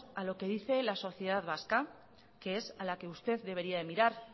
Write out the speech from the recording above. a lo que dice la sociedad vasca que es a la que usted debería de mirar